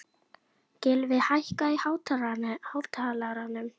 Gylfi, hækkaðu í hátalaranum.